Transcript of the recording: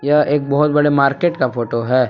यह एक बहोत बड़े मार्केट का फोटो है।